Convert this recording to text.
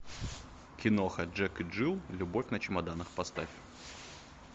киноха джек и джилл любовь на чемоданах поставь